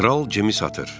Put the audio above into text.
Kral Cimi satır.